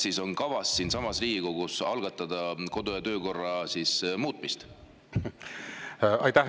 Kas on kavas algatada siinsamas Riigikogus kodu- ja töökorra muutmine?